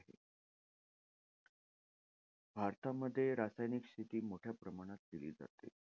भारतामध्ये रासायनिक शेती मोठ्या प्रमाणात केली जाते.